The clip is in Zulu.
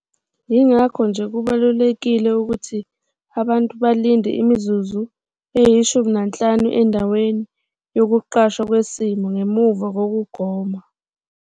Yingakho nje kubalulekile ukuthi abantu balinde imizuzu eyi-15 endaweni yokuqashwa kwesimo ngemuva kokugoma.